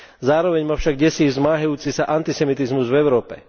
Zároveň ma však desí zmáhajúci sa antisemitizmus v Európe.